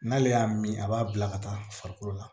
N'ale y'a min a b'a bila ka taa farikolo la